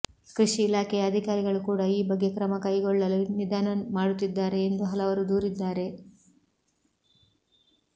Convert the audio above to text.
ಕೃಷಿ ಇಲಾಖೆಯ ಅಧಿಕಾರಿಗಳು ಕೂಡ ಈ ಬಗ್ಗೆ ಕ್ರಮ ಕೈಗೊಳ್ಳಲು ನಿಧಾನ ಮಾಡುತ್ತಿದ್ದಾರೆ ಎಂದು ಹಲವರು ದೂರಿದ್ದಾರೆ